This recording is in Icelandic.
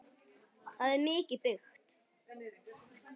Það er mikið byggt.